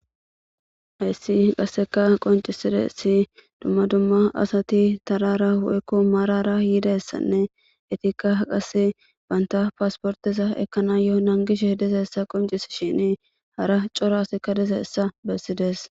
Hayssi qasseka qonciside si dumma dumma asati tarara woykko marara yidassanne etikka qase baynta paasportiza ekkana yoo nangishe diza essa qoncis shini hara corasikka diza essa bessides.